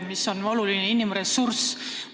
See on oluline inimressurss.